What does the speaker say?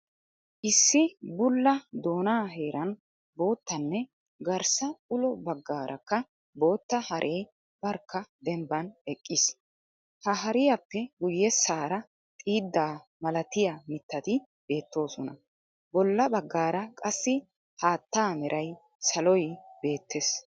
Issi bulla doonaa heeran boottaanne garssa ulo bagarakka bootta haree barkka dembban eqqiis. ha hariyaappe guyessaara xiiiddaa malatiyaa mitati beetteesona, bolla baggaara qassi haattaa mera saloy beettees